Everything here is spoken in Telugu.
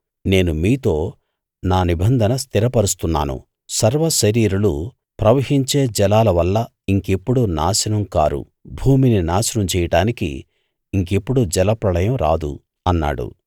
నేను మీతో నా నిబంధన స్థిరపరుస్తున్నాను సర్వ శరీరులు ప్రవహించే జలాల వల్ల ఇంకెప్పుడూ నాశనం కారు భూమిని నాశనం చెయ్యడానికి ఇంకెప్పుడూ జలప్రళయం రాదు అన్నాడు